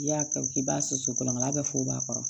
I y'a kɛ k'i b'a susu kolon a bɛ foroba kɔrɔ